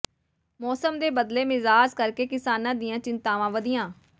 ਮੌਸਮ ਦੇ ਬਦਲੇ ਮਿਜ਼ਾਜ ਕਰਕੇ ਕਿਸਾਨਾਂ ਦੀਆਂ ਚਿੰਤਾਵਾਂ ਵਧੀਆ